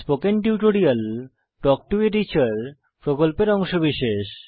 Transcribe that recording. spoken tutorial talk to a teacher প্রকল্পের অংশবিশেষ